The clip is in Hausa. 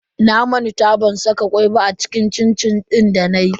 Na manta ban saka kwai ba a cin-cin din danayi.